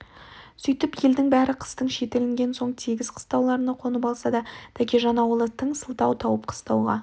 сөйтіп елдің бәрі қыстың шеті ілінген соң тегіс қыстауларына қонып алса да тәкежан ауылы тың сылтау тауып қыстауға